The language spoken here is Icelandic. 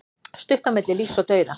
Stutt á milli lífs og dauða